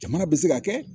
Jamana bɛ se ka kɛ